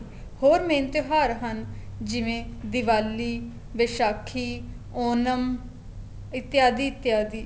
ਹੋਰ main ਤਿਉਹਾਰ ਹਨ ਜਿਵੇਂ ਦਿਵਾਲੀ ਵਿਸਾਖੀ ਉਨਮ ਇਤੀਆਦੀ ਇਤੀਆਦੀ